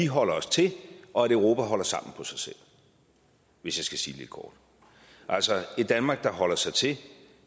holder os til og at europa holder sammen på sig selv hvis jeg skal sige det lidt kort altså et danmark der holder sig til